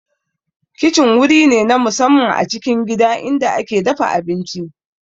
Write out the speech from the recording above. Kicin wuri ne na musamman a cikin gida inda ake dafa abinci